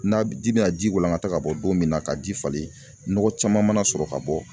N'a ji bɛna ji walankata ka bɔ don min na, ka ji falen nɔgɔ caman mana sɔrɔ ka bɔ.